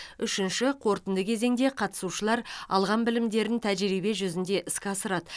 үшінші қорытынды кезеңде қатысушылар алған білімдерін тәжірибе жүзінде іске асырады